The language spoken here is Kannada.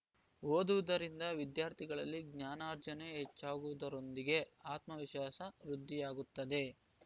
ಓದುವುದರಿಂದ ವಿದ್ಯಾರ್ಥಿಗಳಲ್ಲಿ ಜ್ಞಾನರ್ಜನೆ ಹೆಚ್ಚಾಗುವುದರೊಂದಿಗೆ ಆತ್ಮವಿಶ್ವಾಸ ವೃದ್ಧಿಯಾಗುತ್ತದೆ